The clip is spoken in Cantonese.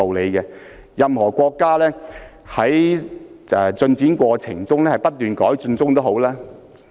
然而，任何國家在發展的過程中也要不斷改進。